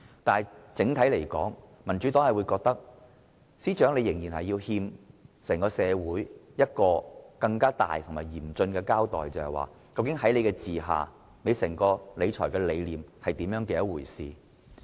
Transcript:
但是，整體而言，民主黨覺得司長仍然欠社會一個嚴肅的交代，便是他的整套理財理念是怎麼一回事。